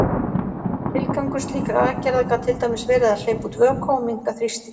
Tilgangur slíkra aðgerða gat til dæmis verið að hleypa út vökva og minnka þrýsting.